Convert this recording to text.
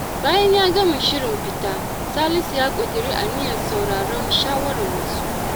Bayan ya gama shirin fita, Salisu ya ƙudiri aniyar sauraron shawarar wasu.